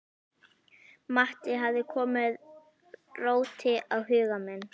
Matti hafði komið róti á huga minn.